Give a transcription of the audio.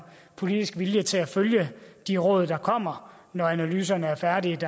politisk vilje til at følge de råd der kommer når analyserne er færdige